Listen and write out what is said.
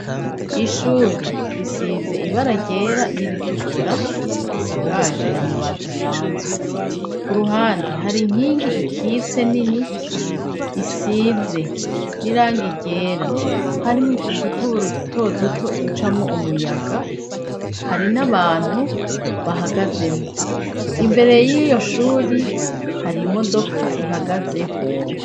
Ishure risize ibara ryera niritukura risakaje amabato asanzwe ku ruhande hari nkingi ikise nini isize n'iranga igera harimwo udutobora udutoduto ducamwo umuyaga hari n'abantu bahagaze imbere y'iyo shuri hari imodoka ihagazeho.